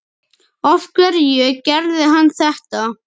Af hverju gerði hann þetta?